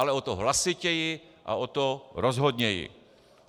Ale o to hlasitěji a o to rozhodněji.